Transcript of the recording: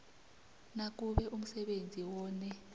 nakube umsebenzi wone